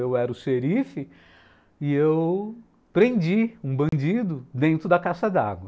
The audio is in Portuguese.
Eu era o xerife e eu prendi um bandido dentro da caixa d'água.